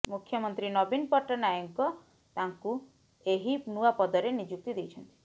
ମୁଖ୍ୟମନ୍ତ୍ରୀ ନବୀନ ପଟ୍ଟାନାୟକ ତାଙ୍କୁ ଏହି ନୂଆ ପଦରେ ନିଯୁକ୍ତି ଦେଇଛନ୍ତି